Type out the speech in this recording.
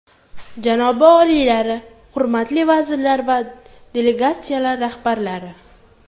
Janobi oliylari, hurmatli vazirlar va delegatsiyalar rahbarlari!